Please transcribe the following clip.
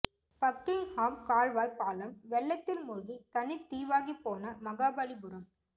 Buckingham கால்வாய் பாலம் வெள்ளத்தில் மூழ்கி தனித் தீவாகிப் போன மகாபலிபுரம்